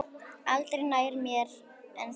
Aldrei nær mér en þá.